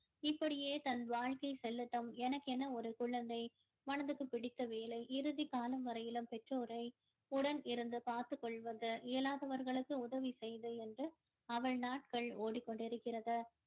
இப்படியே தன் வாழ்க்கை செல்லட்டும் எனக்கென ஒரு குழந்தை மனதுக்கு பிடித்த வேலை இறுதி காலம் வரையிலும் பெற்றோரை உடன் இருந்து பார்த்துக் கொள்வது இயலாதவர்களுக்கு உதவி செய்வது என்று அவள் நாட்கள் ஓடிக்கொண்டு இருக்கிறது